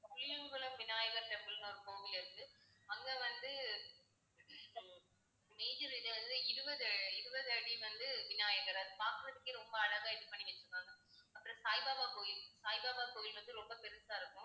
Puliyakulam Vinayakar temple ன்னு ஒரு கோவில் இருக்கு. அங்க வந்து major இது வந்து இருபது, இருபது அடி வந்து விநாயகர் அது பார்க்கிறதுக்கே ரொம்ப அழகா இது பண்ணி வச்சிருக்காங்க. அப்புறம் சாய்பாபா கோயில் சாய்பாபா கோயில் வந்து ரொம்ப பெருசா இருக்கும்